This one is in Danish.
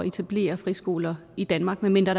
etablere friskoler i danmark medmindre